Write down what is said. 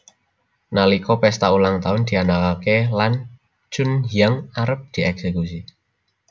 Nalika pesta ulang tahun dianakake lan Chunhyang arep dieksekusi